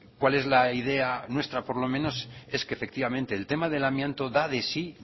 cuál es la idea nuestra por lo menos es que efectivamente el tema del amianto da de sí